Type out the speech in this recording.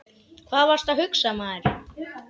Hvað varstu að hugsa maður?